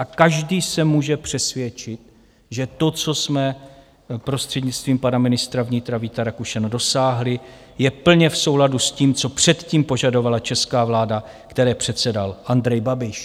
A každý se může přesvědčit, že to, co jsme prostřednictvím pana ministra vnitra Víta Rakušana dosáhli, je plně v souladu s tím, co předtím požadovala česká vláda, které předsedal Andrej Babiš.